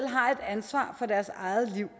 har et ansvar for deres eget liv